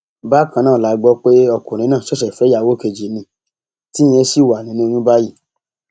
bákan náà la gbọ pé ọkùnrin náà ṣẹṣẹ fẹ ìyàwó kejì ní tíyẹn ṣì wà nínú oyún báyìí